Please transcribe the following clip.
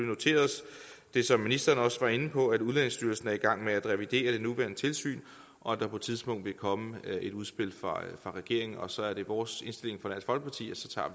noteret os det som ministeren også var inde på at udlændingestyrelsen er i gang med at revidere det nuværende tilsyn og at der på et tidspunkt vil komme et udspil fra regeringen og så er det vores indstilling